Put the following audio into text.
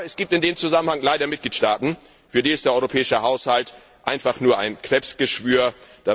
Aber es gibt in dem Zusammenhang leider Mitgliedstaaten, für die der europäische Haushalt einfach nur ein Krebsgeschwür ist.